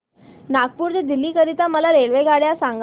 नागपुर ते दिल्ली करीता मला रेल्वेगाड्या सांगा